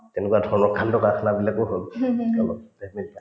তেনেকুৱা ধৰণৰ কাণ্ডকাৰখানাবিলাকো হল অলপকে